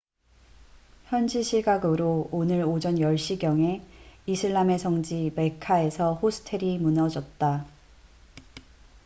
현지 시각으로 오늘 오전 10시경에 이슬람의 성지 메카mecca에서 호스텔이 무너졌다